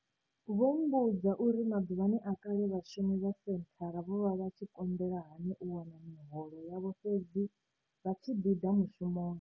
Vho mmbudza uri maḓuvhani a kale vhashumi vha senthara vho vha vha tshi konḓelwa hani u wana miholo yavho fhedzi vha tshi ḓi ḓa mushumoni.